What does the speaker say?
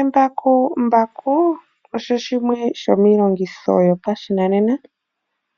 Embakumbaku osho shimwe shomiilongitho yopashinanena